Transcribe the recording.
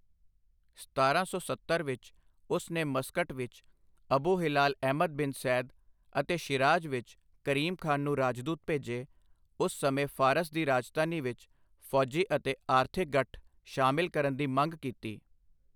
ਸਤਾਰਾਂ ਸੌ ਸੱਤਰ ਵਿੱਚ ਉਸ ਨੇ ਮਸਕਟ ਵਿੱਚ Abu Hilal Ahmad bin Said ਅਤੇ ਸ਼ਿਰਾਜ਼ ਵਿੱਚ ਕਰੀਮ ਖਾਨ ਨੂੰ ਰਾਜਦੂਤ ਭੇਜੇ, ਉਸ ਸਮੇਂ ਫ਼ਾਰਸ ਦੀ ਰਾਜਧਾਨੀ ਵਿੱਚ ਫ਼ੌਜੀ ਅਤੇ ਆਰਥਿਕ ਗੱਠ ਸ਼ਾਮਿਲ ਕਰਨ ਦੀ ਮੰਗ ਕੀਤੀ।